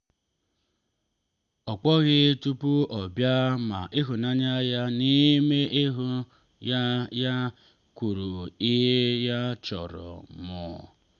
ọ kpọghị tupu ọ bịa ma ihunanya ya n’ime ihun ya ya kwuru ihe ya chọrọ ịnụ.